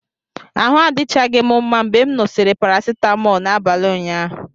Ahụ adịchaghị m mma mgbe m ṅụsịrị paracetamol n'abalị ụnyaahụ.